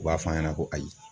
U b'a f'an ɲɛna ko ayi